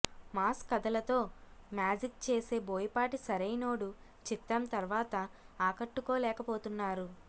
mass కథలతో magic చేసే బోయపాటి సరైనోడు చిత్రం తర్వాత ఆకట్టుకోలేకపోతున్నారు